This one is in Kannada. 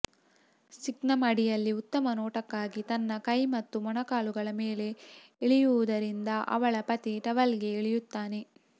ಸಿಂಕ್ನ ಅಡಿಯಲ್ಲಿ ಉತ್ತಮ ನೋಟಕ್ಕಾಗಿ ತನ್ನ ಕೈ ಮತ್ತು ಮೊಣಕಾಲುಗಳ ಮೇಲೆ ಇಳಿಯುವುದರಿಂದ ಅವಳ ಪತಿ ಟವೆಲ್ಗೆ ಇಳಿಯುತ್ತಾನೆ